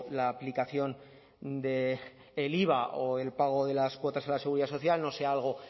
la aplicación del iva o el pago de las cuotas a la seguridad social no sea algo